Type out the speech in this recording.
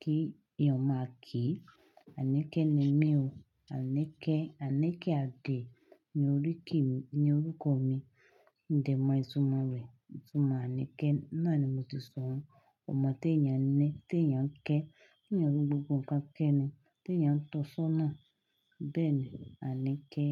kí èèyàn ó máa kí i. Anike ni mí o. Anike, Anike Ade ni orúkọ mi. Modẹ́ mọ ìtumọ̀ rẹ̀? Ìtumọ̀ Anike. Náà ni mo ti sọ ọ́n. Ọmọ tí èèyàn kẹ́, tí èèyàn fí gbogbo nǹkan kẹ́ ẹ ni, tí èèyàn ń tọ́sọ́nà. Bẹ́ẹ̀ ni Anike.